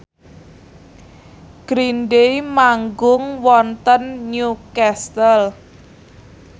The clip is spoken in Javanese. Green Day manggung wonten Newcastle